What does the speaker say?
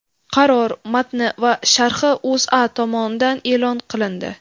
Qaror matni va sharhi O‘zA tomonidan e’lon qilindi .